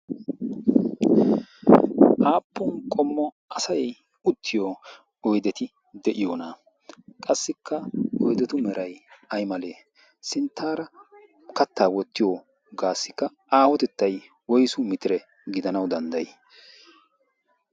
aappun qommo asai uttiyo oideti de7iyoona? qassikka oidetu merai ai malee ?sinttaara kattaa wottiyo gaassikka aawotettai woisu mitire gidanau danddayi?